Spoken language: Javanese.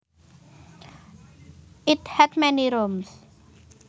It had many rooms